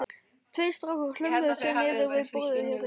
Tveir strákar hlömmuðu sér niður við borðið hjá þeim: